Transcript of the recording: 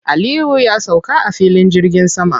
Aliyu ya sauka a filin jirgin sama.